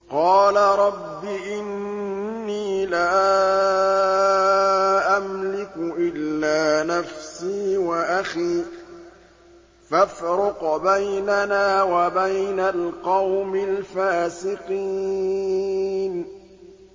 قَالَ رَبِّ إِنِّي لَا أَمْلِكُ إِلَّا نَفْسِي وَأَخِي ۖ فَافْرُقْ بَيْنَنَا وَبَيْنَ الْقَوْمِ الْفَاسِقِينَ